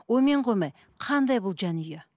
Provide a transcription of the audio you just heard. онымен қоймай қандай бұл жанұя